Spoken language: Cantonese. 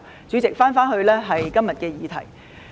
主席，我返回今天的議題。